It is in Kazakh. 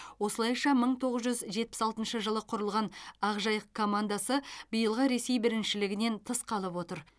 осылайша мың тоғыз жүз жетпіс алтыншы жылы құрылған ақжайық командасы биылғы ресей біріншілігінен тыс қалып отыр